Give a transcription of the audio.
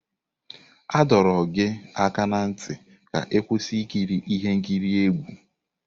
A dọrọ gị aka ná ntị ka ị kwụsị ikiri ihe nkiri egwu!